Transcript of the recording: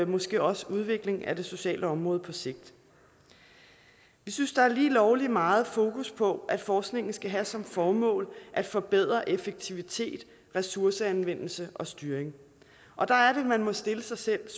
måske også en udvikling af det sociale område på sigt vi synes der er lige lovlig meget fokus på at forskningen skal have som formål at forbedre effektivitet ressourceanvendelse og styring og der er det man må stille sig selv